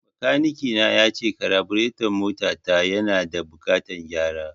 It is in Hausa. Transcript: Bakanike na yace kabureton mota ta yana da buƙatan gyara